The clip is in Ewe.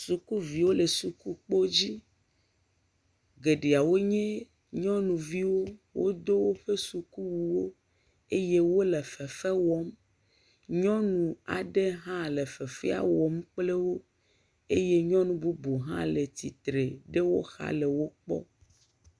Sukuviwo le sukukpo dzi, geɖeawo nye nyɔnuviwo, wodo woƒe sukuwuwo eye wole fefe wɔm, nyɔ aɖe hã le fefea wɔm kple wo eye nyɔnu bubu hã le tsitre ɖe woxa le wokpɔm.